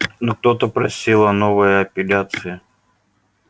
но кто-то просил о новой апелляции